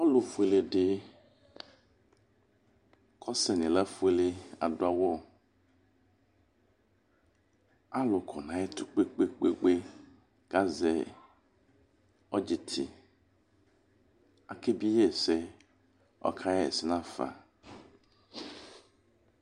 Ɔlʋfuele di ɔsɛ ilafuele adu awu Alu kɔ nʋ ayʋ ɛtʋ kpepekpekpe, kʋ azɛ ɔdzitɩ Akebie yi ɛsɛ, kʋ ɔka ɣa ɛsɛ nafa